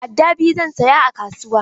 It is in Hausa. Adda biyu zan saya a kasuwa.